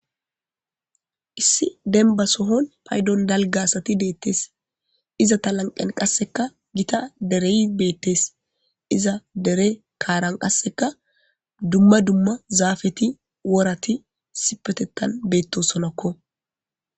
issi denba sohon paydon dalgasati deettes iza ta lanqen qasseka gita derey beettes iza dere kaaran qasseka dumma dumma zaafeti worati sipetettan beetto sonakko